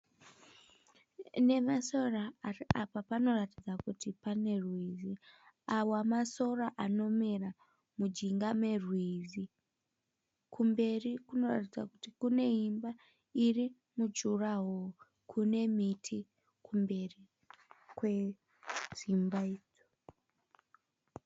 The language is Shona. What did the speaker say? Nemasora apa panoratidza kuti pane rwizi, awa masora anomera mujinga merwizi, kumberi kunoratidza kuti kune imba iri mujurahoro kune miti kumberi kwedzimba idzo.